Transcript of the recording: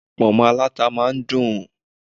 Ponmo aláta máa dùn.